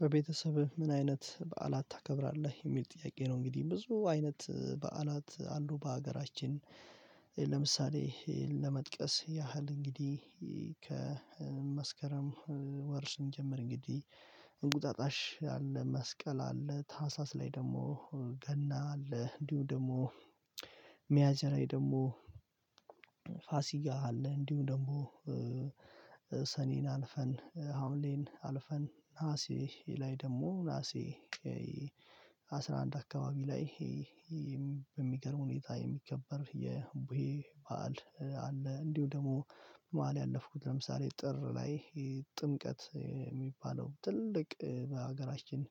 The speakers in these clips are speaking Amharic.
በቤተሰብህ ምን አይነት በዓላት ታከብራለህ? የሚል ጥያቄ ነው እንግዲህ ብዙ አይነት በዓላት አሉ በሀገራችን ለምሳሌ ለመጥቀስ ያህል እንግዲህ ከመስከረም ወር ስንጀምር እንግዲህ እንቁጣጣሽ አለ መስቀል አለ ታህሳስ ላይ ደግሞ ገና አለ እንዲሁ ደግሞ ሚያዝያ ላይ ደግሞ ፋሲካ አለ እንዲሁ ደግሞ ሰኔን አልፈን ሀምሌን አልፈን ነሀሴ ላይ ደግሞ ናሴ አስራ አንድ አካባቢ ላይ በሚገርም ሁኔታ የሚከበር የቡሄ በዓል አለ እንዲሁ ደግሞ በመሃል ያለፍኩት ለምሳሌ ጥር ላይ ጥምቀት የሚባለው ትልቅ በሀገራችን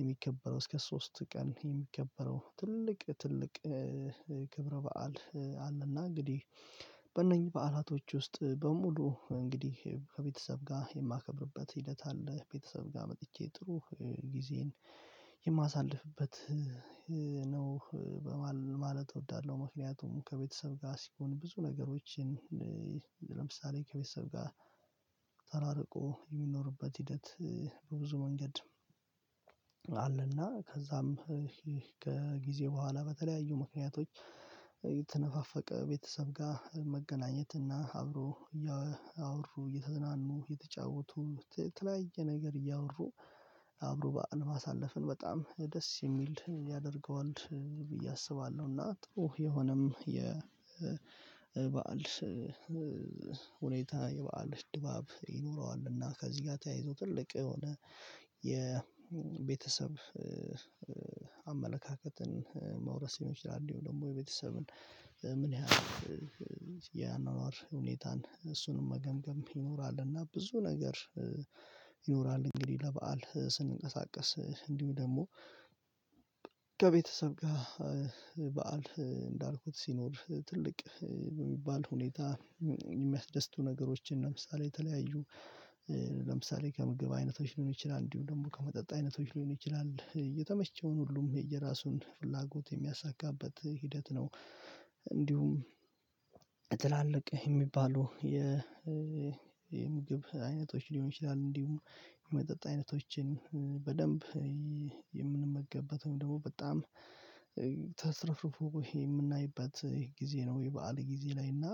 የሚከበረው እስከ ሶስት ቀን የሚከበረው ትልቅ ትልቅ ክብረ በዓል አለና እንግዲህ በእነኚህ በዓላቶች ውስጥ በሙሉ እንግዲህ ከቤተሰብ ጋር የማከብርበት ሂደት አለ ቤተሰብ ጋር መጥቼ ጥሩ ጊዜን የማሳልፍበት ነው ማለት እወዳለሁ ምክንያቱም ከቤተሰብ ጋር ሲሆን ብዙ ነገሮችን ለምሳሌ ከቤተሰብ ጋር ተራርቆ የሚኖርበት ሂደት በብዙ መንገድ አለና ከዛም ከጊዜ በኋላ በተለያዩ ምክንያቶች የተነፋፈቀ ቤተሰብ ጋር መገናኘት እና አብሮ እያወሩ እየተዝናኑ እየተጫወቱ የተለያየ ነገር እያወሩ አብሮ በዓል ማሳለፍን በጣም ደስ የሚል ያደርገዋል ብዬ አስባለሁ እና ጥሩ የሆነም የበአል ሁኔታ የበአል ድባብ እና ከዚህ ጋር ተያይዞ ትልቅ የሆነ የቤተሰብ አመለካከትን መውረስ ይችላል ደግሞ የቤተሰብን ምን ያህል የአኗኗር ሁኔታን እሱንም መገምገም ይኖራልና ብዙ ነገር ይኖራል እንግዲህ ለበአል ስንንቀሳቀስ እንዲሁ ደግሞ ከቤተሰብ ጋር በዓል እንዳልኩት ሲኖር ትልቅ በሚባል ሁኔታ የሚያስደስቱ ነገሮችን ለምሳሌ የተለያዩ ለምሳሌ ከምግብ አይነቶች ሊሆን ይችላል እንዲሁም ደግሞ ከመጠጥ አይነቶች ሊሆን ይችላል የተመቸውን ሁሉም የየራሱን ፍላጎት የሚያሳካበት ሂደት ነው እንዲሁም ትላልቅ የሚባሉ የምግብ አይነቶች ሊሆን ይችላል እንዲሁም የመጠጥ አይነቶችን በደንብ የምንመገበት ወይም ደግሞ በጣም ተትረፍርፎ የምናይበት ይሄ ጊዜ ነው የበአል ጊዜ ላይ እና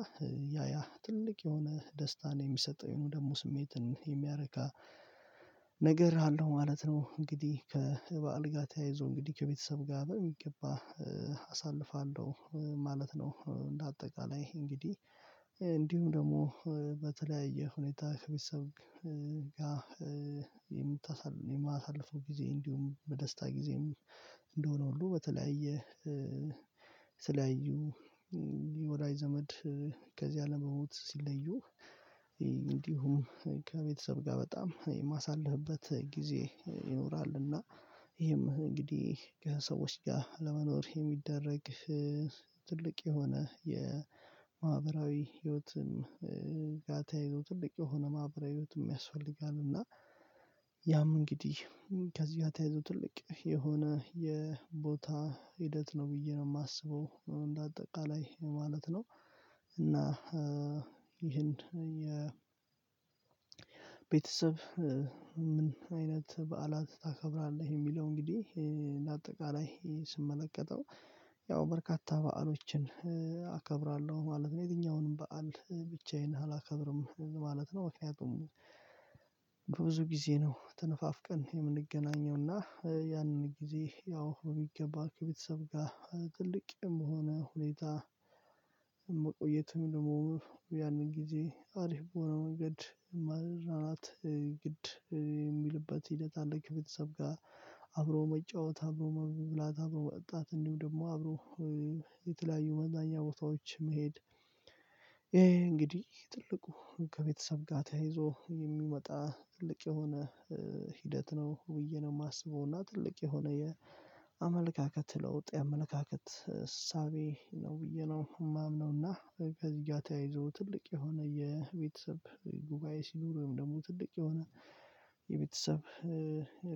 ያ ያ ትልቅ የሆነ ደስታን የሚሰጠው የሆነ ደግሞ ስሜትን የሚያረካ ነገር አለው ማለት ነው እንግዲህ ከበዓል ጋር ተያይዞ እንግዲህ ከቤተሰብ ጋር በሚገባ አሳልፋለሁ ማለት ነው እንደ አጠቃላይ እንግዲህ ደግሞ በተለያየ ሁኔታ ከቤተሰብ ጋር የማሳልፈው ጊዜ እንዲሁም በደስታ ጊዜም እንደሆነ ሁሉ በተለያየ የተለያዩ የወላጅ ዘመድ ከዚህ አለም በሞት ሲለዩ እንዲሁም ከቤተሰብ ጋር በጣም የማሳልፍበት ጊዜ ይኖራልና ይሄም እንግዲህ ከሰዎች ጋር ለመኖር የሚደረግ ትልቅ የሆነ የማህበራዊ ህይወትም ጋር ተያይዞ ትልቅ የሆነ ማህበራዊ ህይወትም ያስፈልጋል እና ያም እንግዲህ ከዚህ ጋር ተያይዞ ትልቅ የሆነ የቦታ ሂደት ነው ብዬ ነው የማስበው እንደ አጠቃላይ ማለት ነው እና ይህን የቤተሰብ ቤተሰብ ምን አይነት በዓላት ታከብራለህ የሚለው እንግዲህ እንደ አጠቃላይ ስመለከተው ያው በርካታ በዓሎችን አከብራለሁ ማለት ነው የትኛውንም በዓል ብቻዬን አላከብርም ማለት ነው ምክንያቱም ብዙ ጊዜ ነው ተነፋፍቀን የምንገናኘው እና ያንን ጊዜ ያው ቢገባ ከቤተሰብ ጋር ትልቅ የሆነ ሁኔታ መቆየትም ደግሞ ያንን ጊዜ አሪፍ በሆነ መንገድ መዝናናት ግድ የሚልበት ሂደት አለ ከቤተሰብ ጋር አብሮ መጫወት አብሮ መብላት አብሮ መጠጣት እንዲሁ ደግሞ አብሮ የተለያዩ መዝናኛ ቦታዎች መሄድ እንግዲህ ትልቁ ከቤተሰብ ጋር ተያይዞ የሚመጣ ትልቅ የሆነ ሂደት ነው ብዬ ነው የማስበው እና ትልቅ የሆነ የአመለካከት ለውጥ የአመለካከት እሳቤ ነው ብዬ ነው የማምነው እና በቃ እዚህ ጋር ተያይዞ ትልቅ የሆነ የቤተሰብ ጉባኤ ሲኖሩ ደግሞ ትልቅ የሆነ የቤተሰብ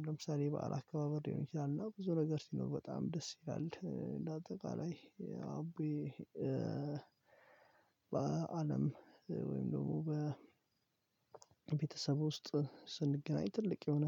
ለምሳሌ በዓል አካባቢ ሊሆን ይችላል እና ብዙ ነገር ሲኖር በጣም ደስ ይላል እንደ አጠቃላይ አብዬ በአለም ወይም ደግሞ በቤተሰብ ውስጥ ስንገናኝ ትልቅ የሆነ